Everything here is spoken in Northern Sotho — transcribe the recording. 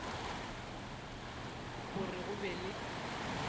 go re go be le